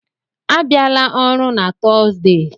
A bịala ọrụ na Tọọzdee!